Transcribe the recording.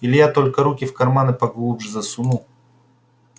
илья только руки в карманы поглубже засунул